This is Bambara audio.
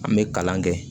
An bɛ kalan kɛ